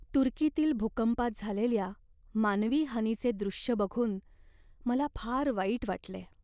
तुर्कीतील भूकंपात झालेल्या मानवी हानीचे दृश्य बघून मला फार वाईट वाटले.